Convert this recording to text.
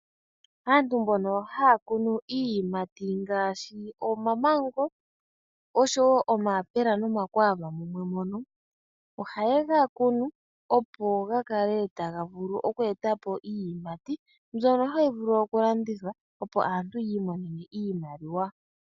Aantu mbono haya kunu iiyimati ngaashi omamango oshowo omayapula nomakwaava mumwe mono, ohaye ga kunu opo ga kale taga vulu oku etapo iinima mbyono hayi vulu oku landithwa opo aantu yi imonene iimaliwa.